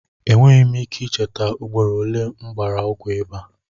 Enweghị m ike ị cheta ugboro ole m gbara ọgwụ ịbà.